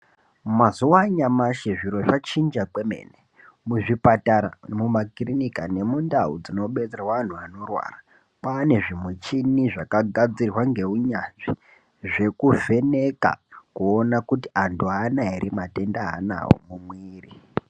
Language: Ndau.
Mazuwa anyamashi zviro zvachinja kwemene . Muzvipatara, mumakirinika nemundau dzinobetserwa anhu anorwara, kwane zvimuchini zvakagadzirwa ngeunyanzvi zvekuvheneka kuona kuti antu aana ere matenda aanawo mumwiri.